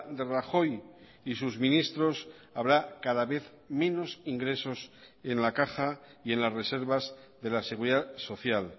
de rajoy y sus ministros habrá cada vez menos ingresos en la caja y en las reservas de la seguridad social